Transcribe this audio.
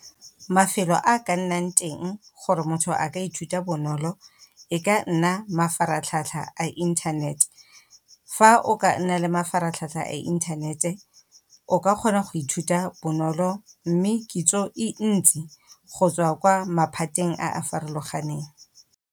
Mafelo a ka nnang teng gore motho a ka ithuta bonolo, e ka nna mafaratlhatlha a inthanete. Fa o ka nna le mafaratlhatlha a inthanete, o ka kgona go ithuta bonolo mme kitso e ntsi, go tswa kwa maphateng a a farologaneng.